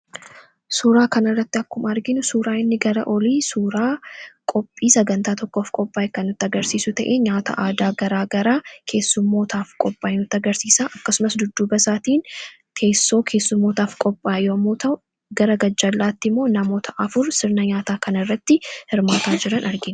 Suuraa kanarratti akkuma arginu inni gara olii suuraa qophii sagantaa tokkoo kan nutti agarsiisu ta'ee nyaata aadaa garaagaraa keessummootaaf qophaaye nutti agarsiisa. Akkasumas dudduuba isaatiin teessoo keessummootaaf qophaaye yommuu ta'u, gara garjalaatti immoo namoota afur sirna nyaataa kanarratti hirmaataa jiran argina.